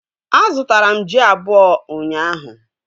A zụtara m ji abụọ ụnyaahụ